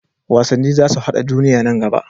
Wasanni za su haɗa duniya nan gaba.